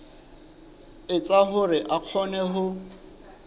etsa hore a kgone ho